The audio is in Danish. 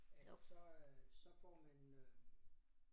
Ellers så øh så får man øh